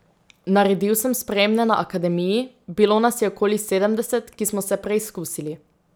Naredil sem sprejemne na akademiji, bilo nas je okoli sedemdeset, ki smo se preizkusili.